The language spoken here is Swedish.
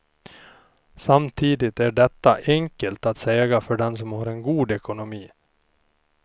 Samtidigt är detta enkelt att säga för den som har en god ekonomi.